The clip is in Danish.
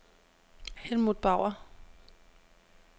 Helmuth Bauer